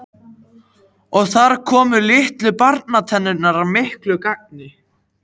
Og þar komu litlu barnatennurnar að miklu gagni.